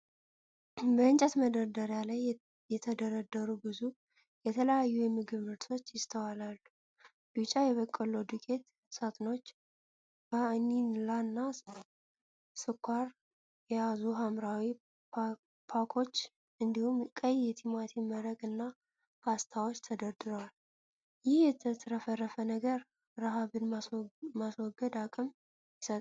በእንጨት መደርደሪያ ላይ የተደረደሩ ብዙ የተለያዩ የምግብ ምርቶች ይስተዋላሉ። ቢጫ የበቆሎ ዱቄት ሳጥኖች፣ ቫኒላና ስኳር የያዙ ሐምራዊ ፓኮች፤ እንዲሁም ቀይ የቲማቲም መረቅ እና ፓስታዎች ተደርድረዋል። ይህ የተትረፈረፈ ነገር ረሃብን የማስወገድ አቅም ይሰጣል።